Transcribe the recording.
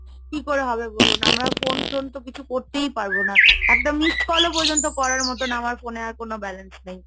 কি করে হবে বলুন? আমরা phone টোন তো কিছু করতেই পারবো না, একটা Missed call ও পর্যন্ত করার মতন আমার phone এ আর কোন balance নেই।